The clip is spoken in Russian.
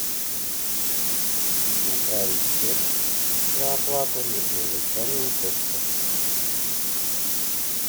направить чек на оплату на электронную почту